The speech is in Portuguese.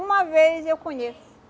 Uma vez eu conheço.